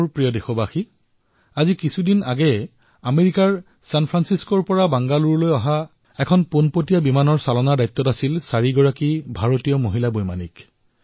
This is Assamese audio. মোৰ মৰমৰ দেশবাসীসকল কিছুদিন পূৰ্বে আপোনালোকে দেখিছে যে আমেৰিকাৰ ছেন ফ্ৰেন্সিস্কৰ পৰা বেংগালুৰুলৈ এখন ননষ্টপ বিমানৰ দায়িত্ব ভাৰতৰ চাৰিগৰাকী মহিলা পাইলটে চম্ভালিছে